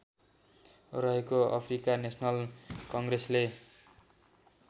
रहेको Africa national कङ्ग्रेसले